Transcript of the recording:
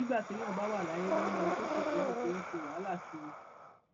nígbà téèyàn bá wà láyé ló ń lọ sókè sódò tó ń ṣe wàhálà kiri